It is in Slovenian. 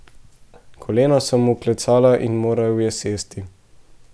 Kolena so mu klecala in moral je sesti.